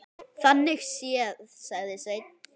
Þannig séð, sagði Sveinn.